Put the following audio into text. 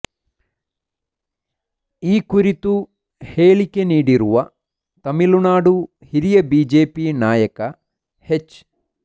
ಈ ಕುರಿತು ಹೇಳಿಕೆ ನೀಡಿರುವ ತಮಿಳುನಾಡು ಹಿರಿಯ ಬಿಜೆಪಿ ನಾಯಕ ಹೆಚ್